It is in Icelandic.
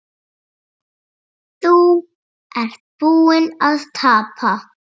Þú ert búinn að tapa